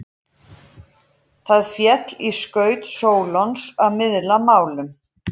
Það féll í skaut Sólons að miðla málum.